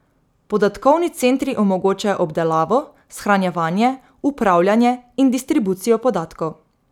Podatkovni centri omogočajo obdelavo, shranjevanje, upravljanje in distribucijo podatkov.